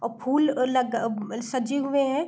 औ फूल लग अ सजे हुए हैं।